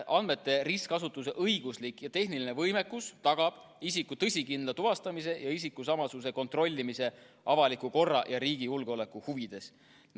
Andmete ristkasutuse õiguslik ja tehniline võimekus tagab isiku tõsikindla tuvastamise ja isikusamasuse kontrollimise avaliku korra ja riigi julgeoleku huvides.